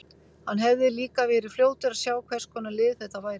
Hann hefði líka verið fljótur að sjá hvers konar lið þetta væri.